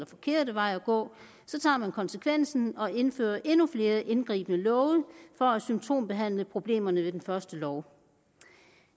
forkerte vej at gå så tager man konsekvensen og indfører endnu flere indgribende love for at symptombehandle problemerne ved den første lov